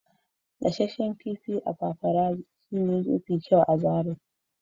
gasasshen kifi a paparazzi shine mafi kyau a zarai.